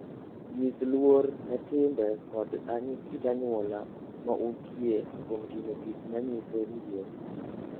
Nyis luor ne timbe kod kit anyuola ma untie kuom timo gik ma nyiso luor.